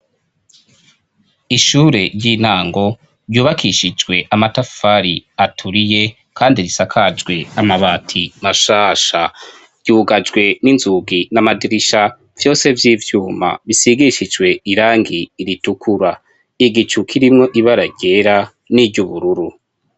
Ishure ry'intango ryubakishijwe amatafari aturiye kandi risakajwe namabati mashasha ryugajwe n'inzugi n'amadirisha vyose vy'ivyuma bisigishijwe irangi ritukura igicu kirimwo ibara ryera n'iry'ubururu.